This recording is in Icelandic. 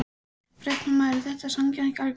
Fréttamaður: Er þetta sanngjarnt gagnvart þér?